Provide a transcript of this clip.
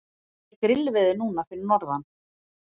er grillveður núna fyrir norðan